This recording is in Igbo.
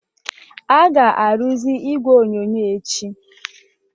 A ga-arụzi igwe onyonyo echi